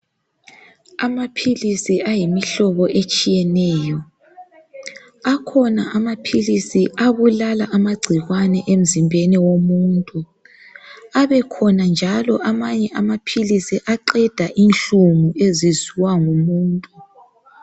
Amaphilisi ayimihlobo etshiyeneyo akhona amaphilisi abulala amagcikwane emzimbi womuntu abelhona njalo amanye amaphilisi aqeda inhlungu eziziwa ngumuntu